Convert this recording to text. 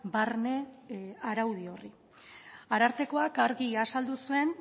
barne araudi horri arartekoak argi azaldu zuen